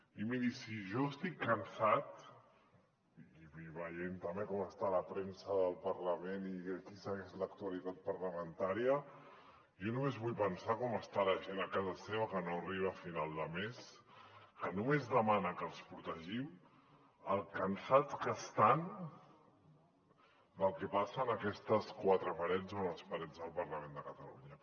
i miri si jo estic cansat i veient també com està la premsa del parlament i qui segueix l’actualitat parlamentària jo només vull pensar com està la gent a casa seva que no arriba a final de mes que només demana que els protegim com de cansats estan del que passa en aquestes quatre parets o en les parets del parlament de catalunya